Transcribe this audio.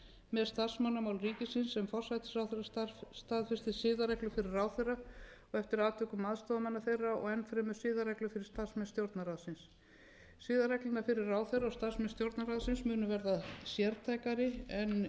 með starfsmannamál ríkisins sem forsætisráðherra staðfestir siðareglur fyrir ráðherra og eftir atvikum aðstoðarmanna þeirra og enn fremur siðareglur fyrir starfsmenn stjórnarráðsins siðareglurnar fyrir ráðherra og starfsmenn stjórnarráðsins munu verða sértækari en